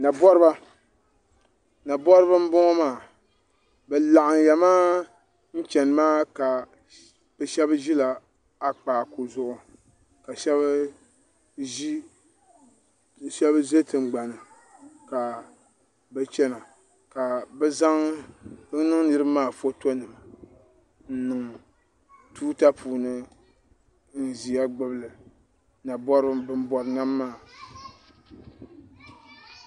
na bɔriba nabɔriba n bɔŋɔ maa bɛ laɣim ya maa n chɛni maa ka be shɛbi ʒɛla a kpaku zuɣ' ka shɛbi shɛbi ʒɛ tiŋ gbani ka bɛ chɛna ka bɛ zaŋ niŋ niriba maa ƒɔtonima n nɛŋ tuuta puuni n ʒɛya gbabili nabɔriba n bɔri nam maa